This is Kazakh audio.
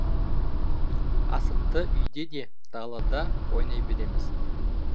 асықты үйде де далада ойнай береміз